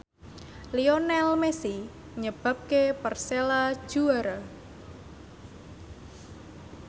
Lionel Messi nyebabke Persela juara